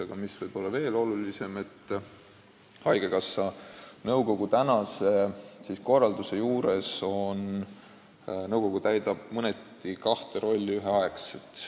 Aga võib-olla veel olulisem on, et haigekassa nõukogu töö on praegu korraldatud nii, et nõukogu täidab mõneti kahte rolli ühel ajal.